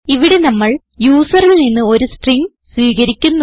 ഇവിടെ നമ്മൾ യൂസറിൽ നിന്ന് ഒരു സ്ട്രിംഗ് സ്വീകരിക്കുന്നു